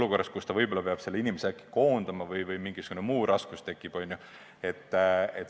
Võib-olla ta peab varsti selle inimese koondama või tekib mingisugune muu raskus.